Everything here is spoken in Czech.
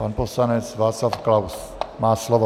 Pan poslanec Václav Klaus má slovo.